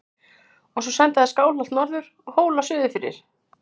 Og svo senda þeir Skálholt norður og Hóla suðurfyrir!